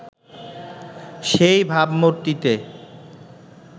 সেই ভাবমূর্তিতে